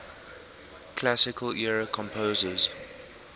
classical era composers